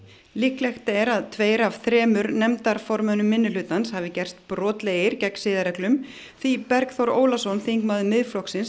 líklegt er að tveir af þremur nefndarformönnum minnihlutans hafi gerst brotlegir gegn siðareglum því Bergþór Ólason þingmaður Miðflokksins